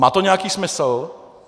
Má to nějaký smysl?